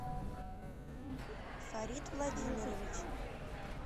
фарид владимирович